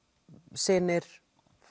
synir